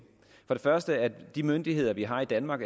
først kræver det at de myndigheder vi har i danmark